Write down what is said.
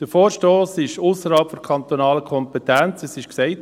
Der Vorstoss liegt ausserhalb der kantonalen Kompetenz, dies wurde gesagt.